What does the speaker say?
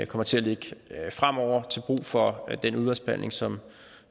kommer til at ligge fremover til brug for den udvalgsbehandling som